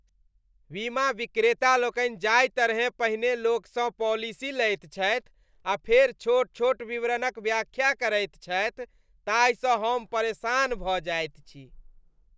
बीमा विक्रेता लोकनि जाहि तरहेँ पहिने लोकसँ पॉलिसी लैत छथि आ फेर छोट छोट विवरणक व्याख्या करैत छथि ताहिसँ हम परेशान भऽ जाइत छी।